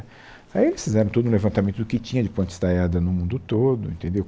Aí eles fizeram todo um levantamento do que tinha de ponte estaiada no mundo todo, entendeu?